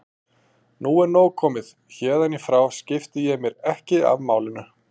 Nú er nóg komið, héðan í frá skipti ég mér ekki af málinu.